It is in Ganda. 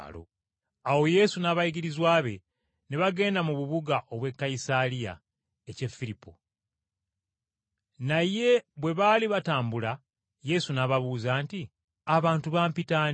Awo Yesu n’abayigirizwa be, ne bagenda mu bubuga obw’e Kayisaliya ekya Firipo. Naye bwe baali batambula, Yesu n’ababuuza nti, “Abantu bampita ani?”